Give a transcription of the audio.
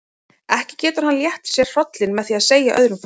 Ekki getur hann létt sér hrollinn með því að segja öðrum frá.